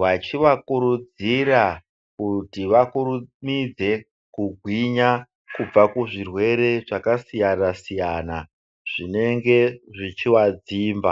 Vachivakurudzira kuti vakurumidze kugwinya kubva kuzvirwere zvakasiyana -siyana zvinenge zvichivadzimba.